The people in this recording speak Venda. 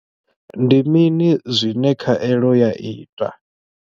Ndi mini zwine khaelo ya ita?